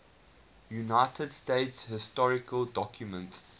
united states historical documents